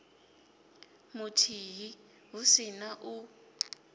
muthihi hu si na u